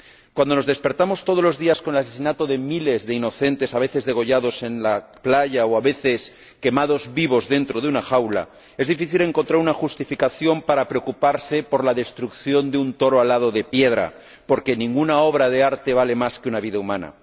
Cuando nos despertamos todos los días con el asesinato de miles de inocentes ―a veces degollados en la playa o a veces quemados vivos dentro de una jaula―, es difícil encontrar una justificación para preocuparse por la destrucción de un toro alado de piedra, porque ninguna obra de arte vale más que una vida humana.